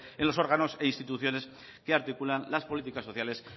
en los órganos e instituciones que articulan las políticas sociales